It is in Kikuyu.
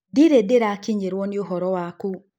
Ndĩrĩ ndĩrakĩnyĩrwo nĩ ũhoro wakũ.